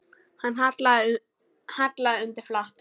Hann hallaði undir flatt.